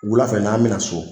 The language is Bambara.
Wulafɛ n'an bɛna so.